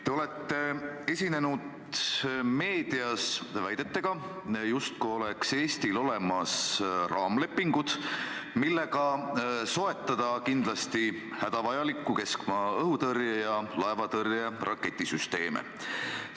Te olete esinenud meedias väidetega, justkui oleks Eestil olemas raamlepingud, millega soetada kindlasti hädavajalikku keskmaa-õhutõrje ja laevatõrje raketisüsteeme.